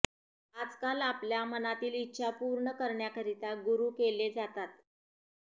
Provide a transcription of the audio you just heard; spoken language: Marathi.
आजकाल आपल्या मनातील इच्छा पूर्ण करण्याकरीता गुरू केले जातात